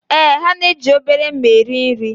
Ee, ha na-eji obere mma eri nri